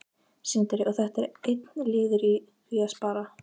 Sindri: Og þetta er einn liður í því að spara?